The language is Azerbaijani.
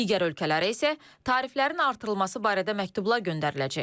Digər ölkələrə isə tariflərin artırılması barədə məktublar göndəriləcək.